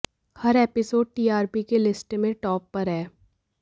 हर episode TRP के list में top पर है